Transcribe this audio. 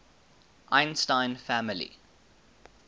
einstein family